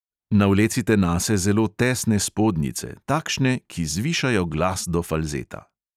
Navlecite nase zelo tesne spodnjice, takšne, ki zvišajo glas do falzeta.